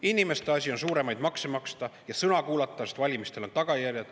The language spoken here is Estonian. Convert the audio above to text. Inimeste asi on suuremaid makse maksta ja sõna kuulata, sest valimistel on tagajärjed.